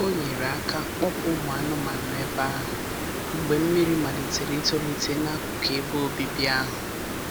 O nyere aka kpọpụ ụmụ anụmanụ ebe ahụ mgbe mmiri malitere itolite n'akụkụ ebe obibi ahụ.